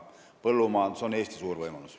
Põllumajandus on Eesti suur võimalus.